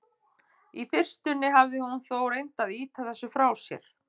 Í fyrstunni hafði hún þó reynt að ýta þessu frá sér.